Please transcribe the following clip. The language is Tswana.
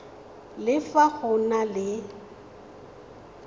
le fa go na le